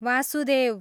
Vasudev